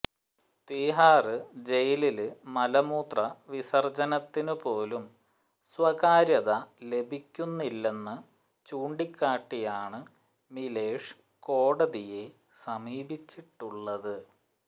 തിഹാര് ജയിലില് മലമൂത്ര വിസര്ജനത്തിനുപോലും സ്വകാര്യത ലഭിക്കുന്നില്ലെന്ന് ചൂണ്ടിക്കാട്ടിയാണ് മിഷേല് കോടതിയെ സമീപിച്ചിട്ടുള്ളത്